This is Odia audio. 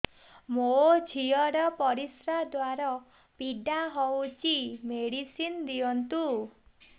ମୋ ଝିଅ ର ପରିସ୍ରା ଦ୍ଵାର ପୀଡା ହଉଚି ମେଡିସିନ ଦିଅନ୍ତୁ